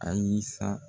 Ayi san